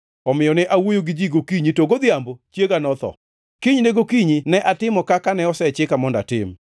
Omiyo ne awuoyo gi ji gokinyi, to godhiambono chiega notho. Kinyne gokinyi ne atimo kaka ne osechika mondo atim.